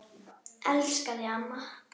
Elska þig, amma.